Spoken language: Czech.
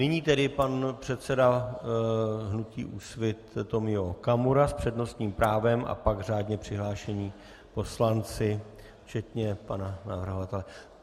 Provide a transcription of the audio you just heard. Nyní tedy pan předseda hnutí Úsvit Tomio Okamura s přednostním právem a pak řádně přihlášení poslanci včetně pana navrhovatele.